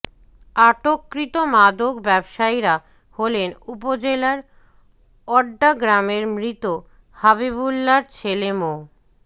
আটককৃত মাদক ব্যবসায়ীরা হলেন উপজেলার ওড্ডা গ্রামের মৃত হাবিবুল্লার ছেলে মো